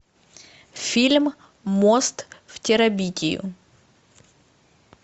фильм мост в терабитию